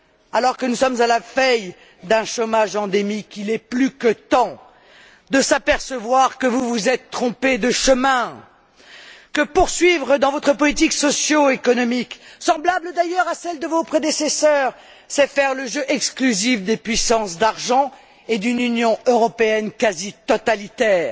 alors que nous sommes à la veille d'un chômage endémique, il est plus que temps de s'apercevoir que vous vous êtes trompé de chemin, que poursuivre dans votre politique socio économique, semblable d'ailleurs à celle de vos prédécesseurs, c'est faire le jeu exclusif des puissances d'argent et d'une Union européenne quasi totalitaire,